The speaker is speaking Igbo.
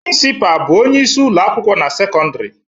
Prịnsịpaa bụ onyeisi ụlọakwụkwọ na sekọndịrị